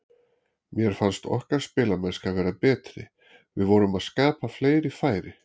Mér fannst okkar spilamennska vera betri, við vorum að skapa fleiri færi.